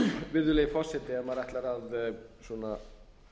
virðulegi forseti ef maður ætlar að